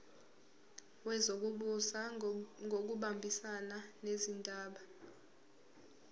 wezokubusa ngokubambisana nezindaba